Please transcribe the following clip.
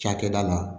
Cakɛda la